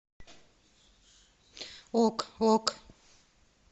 ок ок